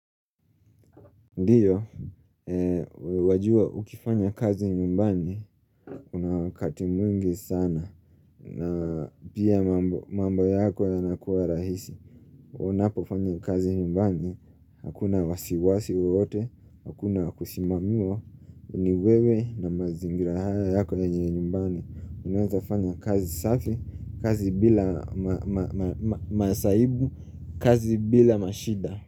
Ndiyo, wewajua ukifanya kazi nyumbani una wakati mwingi sana na pia mambo yako yanakuwa rahisi Unapofanya kazi nyumbani, hakuna wasiwasi wowote, hakuna kusimamiwa, ni wewe na mazingira haya yako yanye nyumbani Unazafanya kazi safi, kazi bila masaibu, kazi bila mashida.